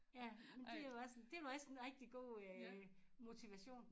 Ja men det jo også en det jo også en rigtig god øh motivation